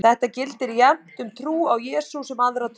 Þetta gildir jafnt um trú á Jesú sem aðra trú.